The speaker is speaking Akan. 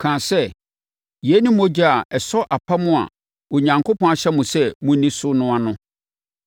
kaa sɛ, “Yei ne mogya a ɛsɔ apam a Onyankopɔn ahyɛ mo sɛ monni so no ano.”